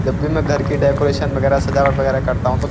जब भी मैं घर की डेकोरेशन वगैरह सजावट वगैरह करता हूँ तो --